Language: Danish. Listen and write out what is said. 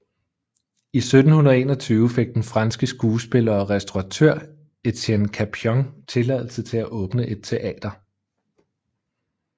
I 1721 fik den franske skuespiller og restauratør Etienne Capion tilladelse til at åbne et teater